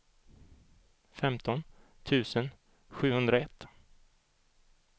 femton tusen sjuhundraett